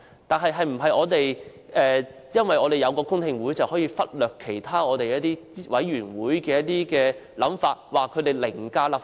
但是，是否因為我們有公聽會，便可以忽略其他委員會的想法，指他們凌駕立法會？